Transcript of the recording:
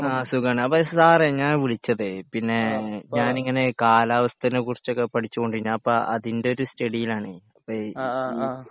ആ സുഖമാണ് അപ്പൊ സാറേ ഞാൻ വിളിച്ചതേ പിന്നെ ഞാനിങ്ങനെ കാലാവസ്ഥനെ കുറിച്ചൊക്കെ പഠിച്ചുകൊണ്ടിന് അപ്പോ അതിൻ്റെ ഒരു സ്റ്റഡിയിലാണെ അപ്പേ ഈ